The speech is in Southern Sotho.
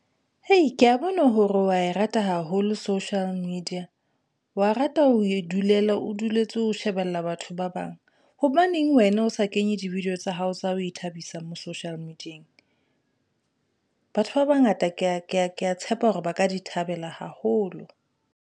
Hei ke ya bona hore wa e rata haholo social media, wa rata ho e dulela, o duletse ho shebella batho ba bang. Hobaneng wena o sa kenye di-video tsa hao tsa ho ithabisa mo social media-eng? Batho ba bangata ke ya tshepa hore ba ka di thabela haholo.